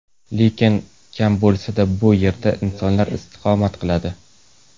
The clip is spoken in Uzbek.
Lekin kam bo‘lsa-da, bu yerda insonlar istiqomat qiladi.